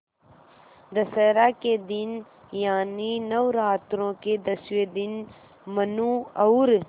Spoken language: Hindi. दशहरा के दिन यानि नौरात्रों के दसवें दिन मनु और